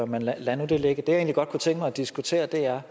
men lad nu det ligge det jeg godt kunne tænke mig at diskutere er